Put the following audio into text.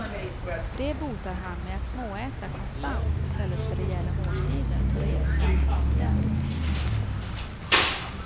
Det botar han med att småäta konstant i stället för rejäla måltider på regelbundna tider.